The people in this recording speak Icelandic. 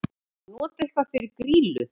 Að nota eitthvað fyrir grýlu